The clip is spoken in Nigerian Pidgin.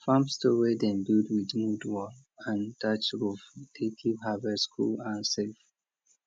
farm store wey dem build with mud wall and thatch roof dey keep harvest cool and safe